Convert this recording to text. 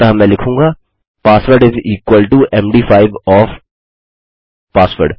अतः मैं लिखूँगा password is equal to MD5 of password